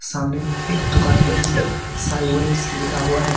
सामने एक दुकान है जिसपर स्वाहनीस लिखा हुआ है।